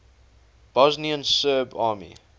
bosnian serb army